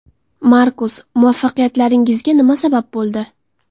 Markus: Muvaffaqiyatlaringizga nima sabab bo‘ldi?